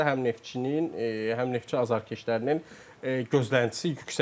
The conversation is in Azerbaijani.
Həm Neftçinin, həm Neftçi azarkeşlərinin gözləntisi yüksəkdir.